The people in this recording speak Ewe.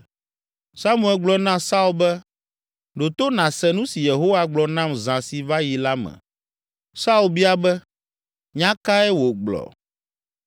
Samuel gblɔ na Saul be, “Ɖo to nàse nu si Yehowa gblɔ nam zã si va yi la me!” Saul bia be, “Nya kae wògblɔ?”